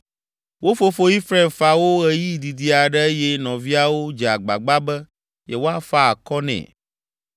Wo fofo Efraim fa wo ɣeyiɣi didi aɖe eye nɔviawo dze agbagba be yewoafa akɔ nɛ.